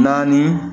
Naani